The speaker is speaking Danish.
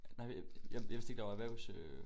Nej jeg jeg vidste ikke der var erhvers øh